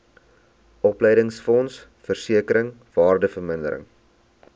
opleidingsfonds versekering waardevermindering